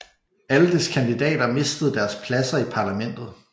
Alle dets kandidater mistede deres pladser i Parlamentet